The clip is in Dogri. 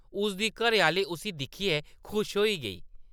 उसदी घरैआह्‌ली उस्सी दिक्खियै खुश होई गेई ।